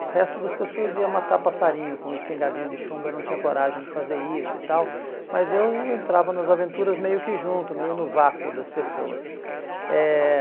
O resto das pessoas ia matar passarinho com espingardinha de chumbo, eu não tinha coragem de fazer isso e tal, mas eu entrava nas aventuras meio que junto, meio no vácuo das pessoas. Eh